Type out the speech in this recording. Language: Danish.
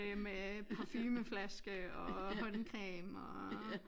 Øh med parfumeflaske og håndcreme og